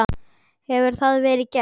Hefur það verið gert?